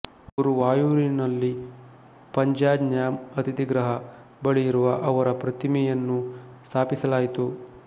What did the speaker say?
ಗುರುವಾಯೂರಿನಲ್ಲಿ ಪಂಜಾಜನ್ಯಾಮ್ ಅತಿಥಿ ಗೃಹ ಬಳಿ ಅವರ ಪ್ರತಿಮೆಯನ್ನು ಸ್ಥಾಪಿಸಲಾಯಿತು